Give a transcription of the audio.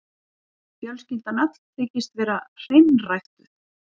Fjölskyldan öll þykist vera hreinræktuð.